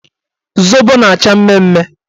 Zobo na-acha mmemme